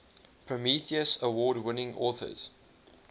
prometheus award winning authors